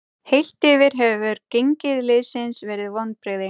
Heilt yfir hefur gengi liðsins verið vonbrigði.